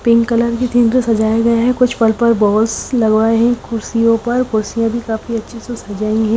Pink colour किन्तु सजाया गया है कुछ पर्पल बोलस लगाये है कुड्सियो पर कुड्सिया भी बहोत अच्छी सजाई है।